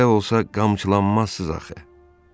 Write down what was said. Belə olsa qamçılanmazsınız axı.